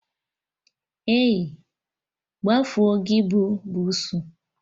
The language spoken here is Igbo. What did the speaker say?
Ei, gbafuo gị bụ bussu!